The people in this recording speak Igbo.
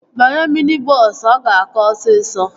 Banye mini bọọsu. Ọ ga-aka osisọ